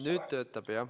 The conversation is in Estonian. Nüüd töötab.